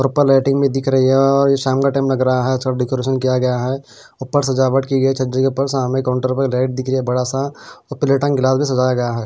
Proper lighting दिख रही है और ये शाम का टाइम लग रहा है अच्छा डेकोरेशन किया गया है ऊपर सजावट की गई छज्जा के ऊपर से सामने काउंटर पर लाइट दिख रही है बड़ा सा और प्लेट एंड गिलास भी सजाया गया है।